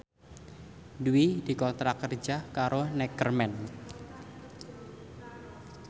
Dwi dikontrak kerja karo Neckerman